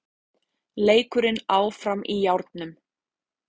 Leikurinn áfram í járnum